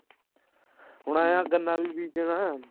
ਹੁਣ ਐਂ ਹੈ ਗੰਨਾ ਵੀ ਬੀਜਣਾ